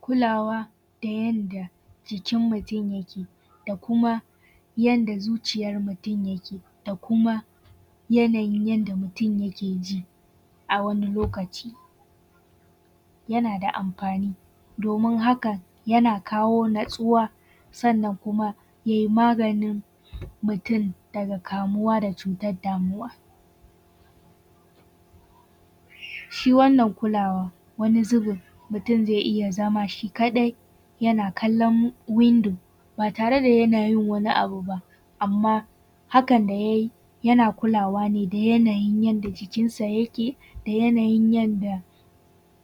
Kulawa da yadda jikin mutum yake, da kuma yanda zuciyar mutum yake, kuma yanayin yanda mutum yake ji a wani lokaci. Yana da amfani domin hakan yana kawo natsuwa, sannan kuma yai maganin mutum da cutar damuwa. Shi wannan kula wani zubin, mutum zai iya zama shi kaɗai yana kalan windo ba tare da yana yin wani abu ba. Amma hakan da ya yi yana kulawa ne da yanayin da jikinsa yake, da yanayin yanda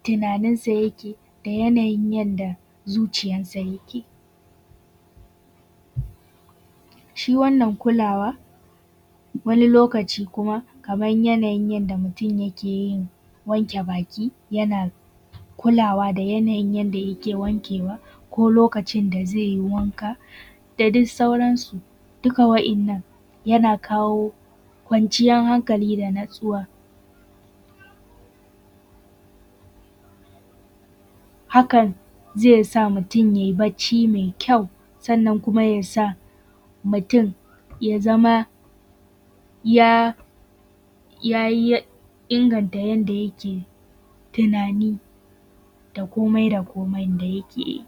tunaninsa yake, da yanayin yanda zuciyansa yake. Shi wannan kulawa, wani lokaci kaman yanayin yanda mutum yake wanke baki, yana kulawa da yanayin yanda yake wankeawa ko lokacin da zai yi wanka, da duk sauransu duka waɗannan yana kawo kwanciyan hankali da natsuwa. Hakan zai sa mutum yai bacci mai kyau, sannan kuma ya sa mutum ya zama ya ya inganta yanda yake tunani, da komai da koman da yake yi.